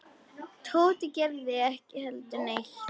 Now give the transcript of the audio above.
Tóti gerði ekki heldur neitt.